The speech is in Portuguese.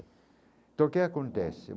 Então o que acontece?